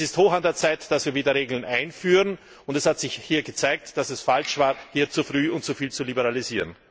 Es ist höchste Zeit, dass wir wieder Regeln einführen, und es hat sich hier gezeigt, dass es falsch war, zu früh und zu viel zu liberalisieren.